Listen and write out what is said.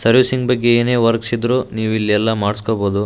Servicing ಬಗ್ಗೆ ಏನೆ works ಇದ್ರೂ ನೀವೆಲ್ಲ ಇಲ್ಲೇ ಮಾಡ್ಸಕೊಲಂಬೊದು.